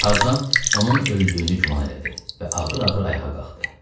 Tarzan onun öldüyünü güman elədi və ağır-ağır ayağa qalxdı.